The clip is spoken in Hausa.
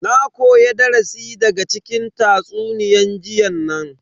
Na koya darasi daga cikin tatsuniyan jiyan nan.